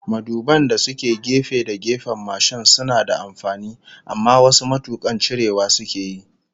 Maduban da suke gefe da gefen mashin suna da amfani, amma wasu matukan cirewa sukeyi